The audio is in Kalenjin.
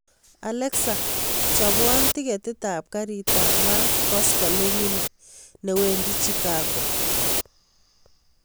Alexa chobwon tiketit ab garit ab maat koskoleng ini newendi chicago